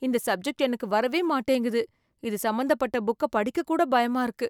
இந்த சப்ஜெக்ட் எனக்கு வரவே மாட்டேங்குது. இது சம்பந்தப்பட்ட புக்க படிக்க கூட பயமா இருக்கு.